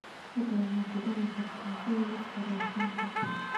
fadlan ma ku dari kartaa shay liiska raashinka